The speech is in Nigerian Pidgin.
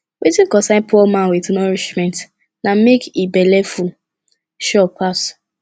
wetin concern poor man with nourishment na make e belleful sure pass